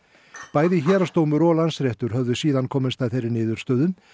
bæði héraðsdómur og Landsréttur höfðu síðan komist að þeirri niðurstöðu